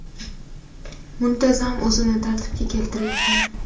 Muntazam o‘zimni tartibga keltiryapman.